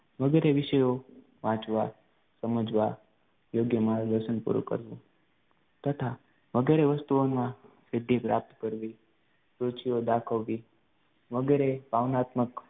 વગેરે વિષયો વાંચવા, સમજવા, યોગ્ય માર્ગદર્શન પૂરું કરવું તથા વગેરે વસ્તુઓમાં સિદ્ધિ પ્રાપ્ત કરવી, રુચિઓ દાખવવી વગેરે કામનાત્મક